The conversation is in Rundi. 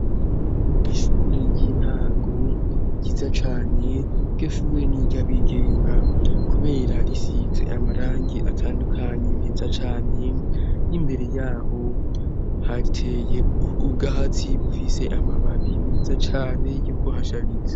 Ishure ry'intango ryiza cane rwe shure niryo abigenga kuberarisize amarangi atandukanye meza cane n'imbere yaho hariteye ubwo hatsi bufise amababi meza cane yo kuhashariza.